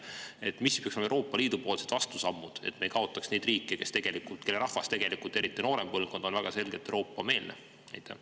Millised peaksid olema Euroopa Liidu vastusammud, et me ei kaotaks neid riike, kelle rahvas, eriti noorem põlvkond, on tegelikult väga selgelt Euroopa-meelne?